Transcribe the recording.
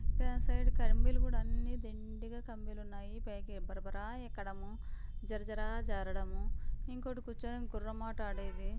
కమ్మీలు కూడా దండిగా కమ్మీలున్నాయి. పైకి బరబరా ఎక్కడము జరజర జారడము ఇక్కడ కూర్చొని గుర్రమాట ఆడేది--